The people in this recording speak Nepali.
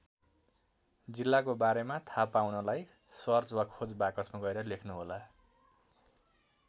जिल्लाको बारेमा थाहा पाउनलाई सर्च वा खोज बाकसमा गएर लेख्नुहोला।